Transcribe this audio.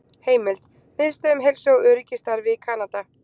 Heimild: Miðstöð um heilsu og öryggi í starfi í Kanada